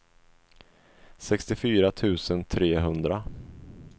sextiofyra tusen trehundra